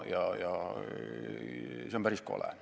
See on päris kole.